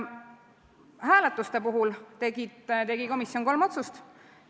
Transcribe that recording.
Hääletustel tegi komisjon kolm otsust.